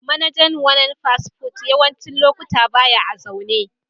Manajan wanan fast food yawancin lokatai baya a'zaune.